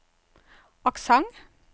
aksent